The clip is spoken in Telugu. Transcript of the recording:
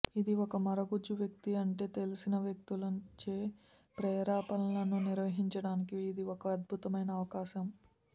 ఇది ఒక మరుగుజ్జు వ్యక్తి అంటే తెలిసిన వ్యక్తులచే ప్రేరేపణలను నిర్వహించడానికి ఇది ఒక అద్భుతమైన అవకాశం